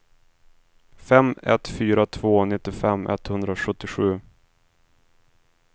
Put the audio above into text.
fem ett fyra två nittiofem etthundrasjuttiosju